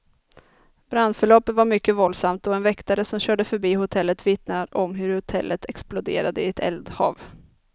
Brandförloppet var mycket våldsamt, och en väktare som körde förbi hotellet vittnar om hur hotellet exploderade i ett eldhav.